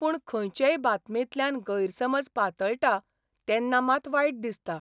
पूण खंयचेय बातमेंतल्यान गैरसमज पातळटा तेन्ना मात वायट दिसता.